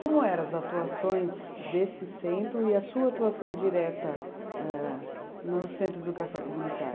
Como eram as atuações desse centro e a sua atuação direta âh no Centro de Educação Comunitária?